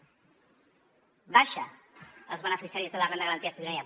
baixen els beneficiaris de la renda garantida de ciutadania